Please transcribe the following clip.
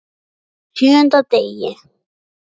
Á SJÖUNDA DEGI